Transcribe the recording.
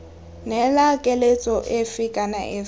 neela keletso efe kana efe